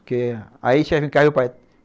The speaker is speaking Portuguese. Porque aí tinha que encarar o pai.